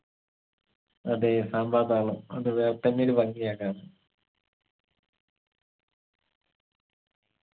അതെ സാമ്പാതാളം അത് വേറെതന്നെയൊരു ഭംഗിയാ കാണാൻ